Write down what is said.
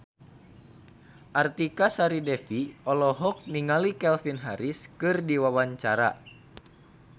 Artika Sari Devi olohok ningali Calvin Harris keur diwawancara